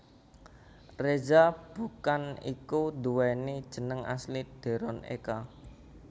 Reza Bukan iku nduweni jeneng asli Deron Eka